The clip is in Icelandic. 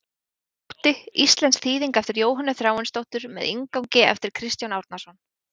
Uggur og ótti, íslensk þýðing eftir Jóhönnu Þráinsdóttur með inngangi eftir Kristján Árnason.